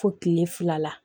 Fo kile fila la